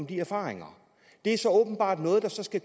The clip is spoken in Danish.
de erfaringer det er så åbenbart noget der skal